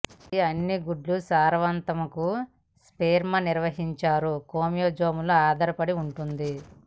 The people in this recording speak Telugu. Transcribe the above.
ఇది అన్ని గుడ్డు సారవంతం కు స్పెర్మ్ నిర్వహించారు క్రోమోజోముల ఆధారపడి ఉంటుంది